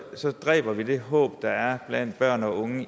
så dræber vi det håb der er blandt børn og unge